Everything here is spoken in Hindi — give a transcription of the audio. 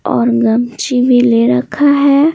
और गमची भी ले रखा है।